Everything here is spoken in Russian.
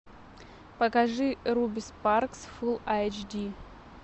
покажи руби спаркс фулл айч ди